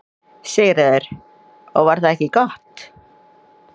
Sigríður: Og var það ekki gott?